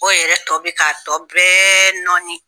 O yɛrɛ tɔ bi k'a tɔ bɛɛ nɔɔni